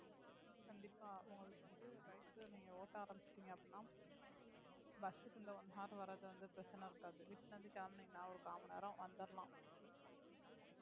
கண்டிப்பா உங்களுக்கு வந்து bike நீங்க ஓட்ட ஆரமிச்சிட்டீங்க அப்பிடின்னா bus க்கு இந்த one hour வர்றது வந்து பிரச்சனை இருக்காது வீட்ல இருந்து கிளம்பினீங்கனா ஒரு கால் மணி நேரம் வந்தரலாம்